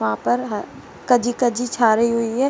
वहाँ पर ह कजी-कजी झारी हुई है।